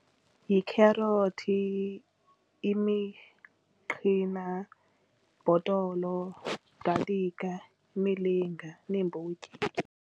Yikherothi, imiqhina, bhotolo, galikha, imilinga neembotyi.